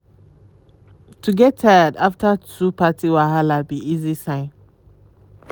to get tired after too party wahala be esay sign.